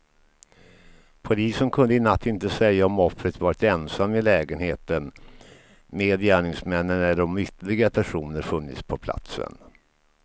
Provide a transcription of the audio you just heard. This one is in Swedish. Polisen kunde i natt inte säga om offret varit ensam i lägenheten med gärningsmännen eller om ytterligare personer funnits på platsen.